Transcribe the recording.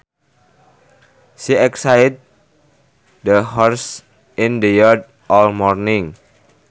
She exercised the horses in the yard all morning